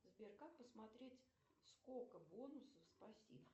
сбер как посмотреть сколько бонусов спасибо